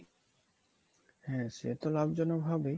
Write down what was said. হ্যা সেতো লাভজনক হবেই